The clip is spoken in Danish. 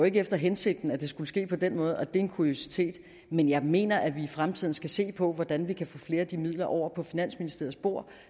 ikke var hensigten at det skulle ske på den måde og det er en kuriositet men jeg mener at vi i fremtiden skal se på hvordan vi kan få flere af de midler over på finansministeriets bord